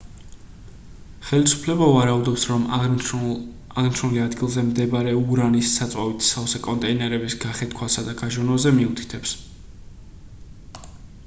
ხელისუფლება ვარაუდობს რომ აღნიშნული ადგილზე მდებარე ურანის საწვავით სავსე კონტეინერების გახეთქვასა და გაჟონვაზე მიუთითებს